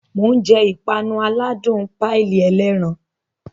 Mo jẹ ìpanu aládùn páìlì ẹlẹ́ran